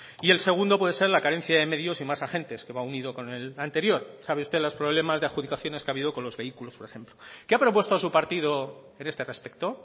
y el segundo puede ser la carencia de medios y más agentes que va unido con el anterior sabe usted los problemas de adjudicaciones que ha habido con los vehículos por ejemplo qué ha propuesto su partido en este respecto